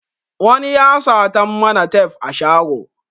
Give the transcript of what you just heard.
Wani ya sata mana tef a shago